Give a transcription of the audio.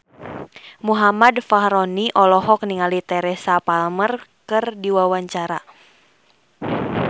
Muhammad Fachroni olohok ningali Teresa Palmer keur diwawancara